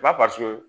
Ba